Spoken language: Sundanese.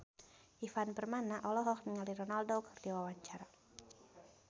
Ivan Permana olohok ningali Ronaldo keur diwawancara